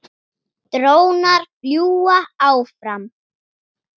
Drónar fljúga áfram.